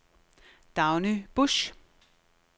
Dagny Busch